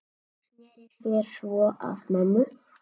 Sneri sér svo að mömmu.